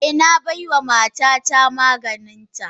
Eh, na baiwa matata maganinta.